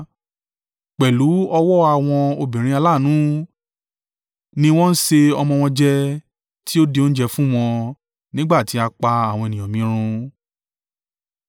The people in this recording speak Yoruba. Pẹ̀lú ọwọ́ àwọn obìnrin aláàánú ni wọ́n ṣe ọmọ wọn jẹ tí ó di oúnjẹ fún wọn nígbà tí a pa àwọn ènìyàn mi run.